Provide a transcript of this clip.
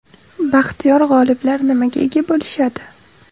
Baxtiyor g‘oliblar nimaga ega bo‘lishadi?